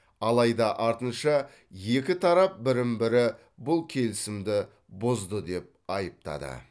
алайда артынша екі тарап бірін бірі бұл келісімді бұзды деп айыптады